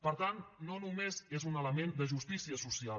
per tant no només és un element de justícia social